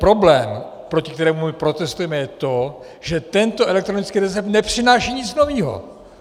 Problém, proti kterému my protestujeme, je to, že tento elektronický recept nepřináší nic nového.